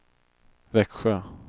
Växjö